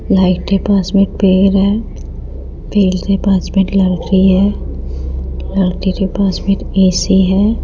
Light के पास में एक पेड़ है पेड़ के पास में एक लड़की है लड़की के पास में एक ए_सी है।